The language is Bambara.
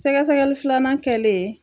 Sɛgɛsɛgɛli filanan kɛlen